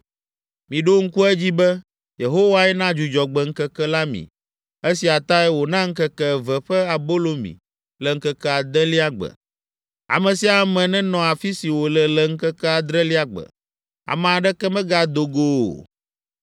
Miɖo ŋku edzi be, Yehowae na Dzudzɔgbe ŋkeke la mi; esia tae wòna ŋkeke eve ƒe abolo mi le ŋkeke adelia gbe. Ame sia ame nenɔ afi si wòle le ŋkeke adrelia gbe; ame aɖeke megado go o.”